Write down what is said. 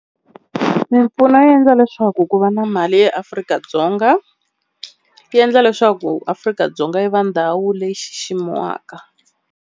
Mimpfuno yi endla leswaku ku va na mali eAfrika-Dzonga, yi endla leswaku Afrika-Dzonga yi va ndhawu leyi xiximiwaka.